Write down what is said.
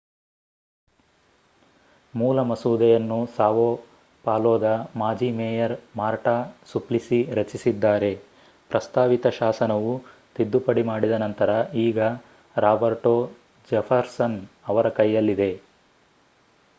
ಮೂಲ ಮಸೂದೆಯನ್ನು ಸಾವೊ ಪಾಲೊದ ಮಾಜಿ ಮೇಯರ್ ಮಾರ್ಟಾ ಸುಪ್ಲಿಸಿ ರಚಿಸಿದ್ದಾರೆ ಪ್ರಸ್ತಾವಿತ ಶಾಸನವು ತಿದ್ದುಪಡಿ ಮಾಡಿದ ನಂತರ ಈಗ ರಾಬರ್ಟೊ ಜೆಫರ್ಸನ್ ಅವರ ಕೈಯಲ್ಲಿದೆ